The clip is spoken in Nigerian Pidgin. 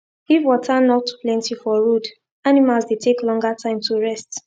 if water nor too plenty for road animals dey take longer time to rest